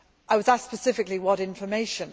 I was asked specifically what information.